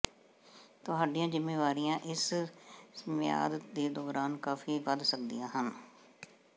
ਤੁਹਾਡੀਆਂ ਜ਼ਿੰਮੇਵਾਰੀਆਂ ਇਸ ਮਿਆਦ ਦੇ ਦੌਰਾਨ ਕਾਫ਼ੀ ਵੱਧ ਸਕਦੀਆਂ ਹਨ